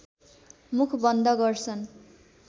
मुख बन्द गर्छन्